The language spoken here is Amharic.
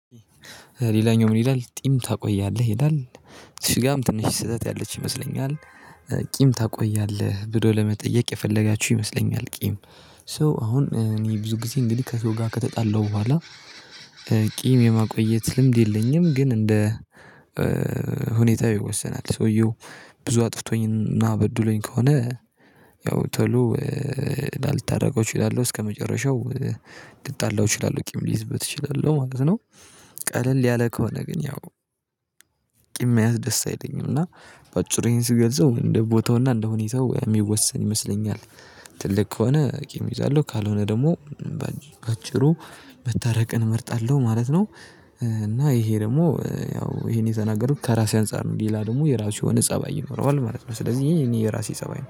ሌላኛው ምን ይላል? ጢም ታቆያለህ ይላል እዝችጋም ትንሽ ስህተት ያለች ይመስለኛል? ቂም ታቆያለህ ብሎ ለመጠየቅ የፈለጋችሁ ይመስለኛል ቂም። ሶ አሁን እኔ ብዙ ጊዜ እንግዲህ ከሰው ጋር ከተጣለው በኋላ ቂም የማቆየት ልምድ የለኝም። ግን እንደ ሁኔታ ይወሰናል ሰውየው ብዙ አጥፍቶኝና በድሎኝ ከሆነ ያው ቶሎ ላልታረቀው እችላለሁ እስከመጨረሻው ልጣላው እችላለሁ ቂም ሊይዝበት እችላለሁ ማለት ነው። ቀለል ያለ ከሆነ ግን ያው ቂም መያዝ ደስ አይለኝም። እና በአጭሩ ዬሄን ስገልጸው እንደ ቦታውና እንደ ሁኔታው የሚወሰን ይመስለኛል። ትልቅ ከሆነ ቂም ይዛለሁ ካልሆነ ደግሞ በአጭሩ መታረቅን እመርጣለሁ ማለት ነው። እና ይሄ ደግሞ ያው ይሄን የተናገሩት ከራሴ አንፃር ነው ሌላ ደግሞ የራሱ የሆነ ፀባይ ይኖረዋል ማለት ነው። ስለዚህ የኔ የራሴ ፀባይ ነው